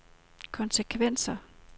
konsekvenser